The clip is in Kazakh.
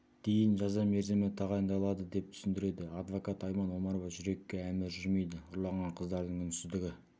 дейін жаза мерзімі тағайындалады деп түсіндіреді адвокат айман омарова жүрекке әмір жүрмейді ұрланған қыздардың үнсіздігі